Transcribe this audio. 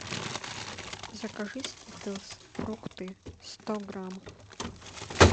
закажи скитлс фрукты сто грамм